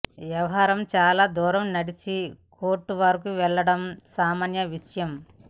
వ్యవహారం చాలా దూరం నడిచి కోర్టుల వరకు వెళ్లడం సామాన్య విషయం